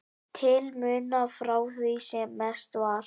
til muna frá því sem mest var.